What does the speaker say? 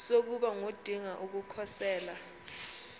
sokuba ngodinga ukukhosela